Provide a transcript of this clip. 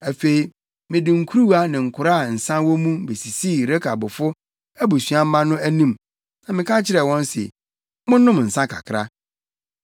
Afei mede nkuruwa ne nkora a nsa wɔ mu besisii Rekabfo abusuamma no anim na meka kyerɛɛ wɔn se, “Monnom nsa kakra.”